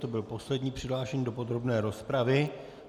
To byl poslední přihlášený do podrobné rozpravy.